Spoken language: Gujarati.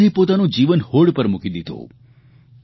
આઝાદે પોતાનું જીવન હોડ પર મૂકી દીધું